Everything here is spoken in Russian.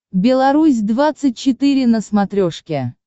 беларусь двадцать четыре на смотрешке